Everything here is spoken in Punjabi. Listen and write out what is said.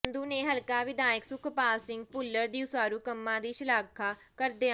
ਸੰਧੂ ਨੇ ਹਲਕਾ ਵਿਧਾਇਕ ਸੁਖਪਾਲ ਸਿੰਘ ਭੁੱਲਰ ਦੀ ਉਸਾਰੂ ਕੰਮਾਂ ਦੀ ਸ਼ਲਾਘਾ ਕਰਦਿਆਂ